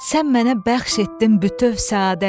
Sən mənə bəxş etdin bütöv səadət.